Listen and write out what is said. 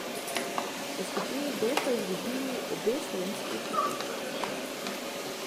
V skupini B sta izgubili obe slovenski ekipi.